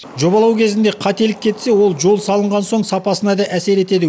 жобалау кезінде қателік кетсе ол жол салынған соң сапасына да әсер етеді